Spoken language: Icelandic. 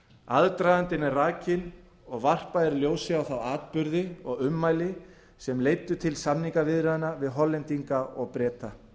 aðdragandinn er rakinn og varpað er ljósi á þá atburði og ummæli sem leiddu til samningaviðræðna við hollendinga og breta